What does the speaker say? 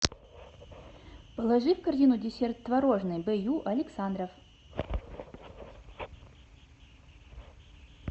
положи в корзину десерт творожный б ю александров